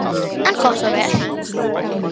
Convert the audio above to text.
En gott og vel.